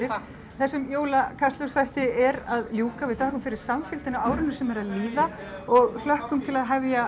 þessum jóla Kastljósþætti er að ljúka við þökkum fyrir samfylgdina á árinu sem er að líða og hlökkum til að hefja